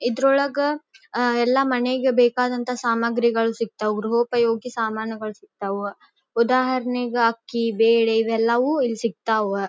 ಇದರೊಳಗ ಅಹ್ ಎಲ್ಲ ಮನೆಗೆ ಬೇಕಾದಂತ ಸಾಮಗ್ರಿಗಳು ಸಿಕ್ತಾವ ಸಮಾನ್ ಸಿಕ್ತಾವ. ಉದಾಹರಣೆಗೆ ಅಕ್ಕಿ ಬೇಳೆ ಇವೆಲ್ಲವೂ ಇಲ್ಲಿ ಸಿಕ್ತಾವ.